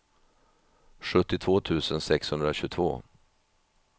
sjuttiotvå tusen sexhundratjugotvå